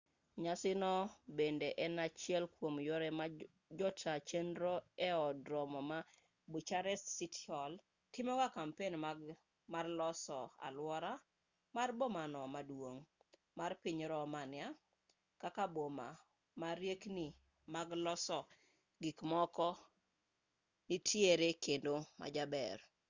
nyasi no bende en achiel kwom yore ma jota chenro e od romo ma bucharest city hall timogo kampen mar loso aluora mar bomano maduong' mar piny romania kaka boma ma riekni mag loso gikmoko nitiere kendo majaber